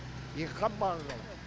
екі қап маған қалады